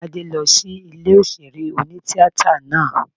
Tádé lọ sí ilé òṣèré oní-tíatà náà